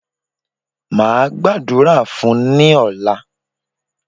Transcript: Máa Gbàdúrà fún ní ọ̀la